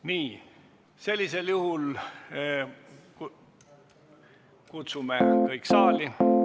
Nii, sellisel juhul kutsume kõik saali.